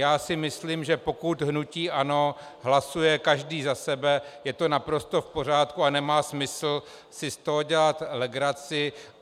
Já si myslím, že pokud hnutí ANO hlasuje každý za sebe, je to naprosto v pořádku a nemá smysl si z toho dělat legraci.